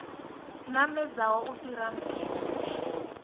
namedzaho u fhira mpimo tshi